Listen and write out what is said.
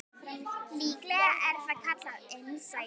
Líklega er það kallað innsæi.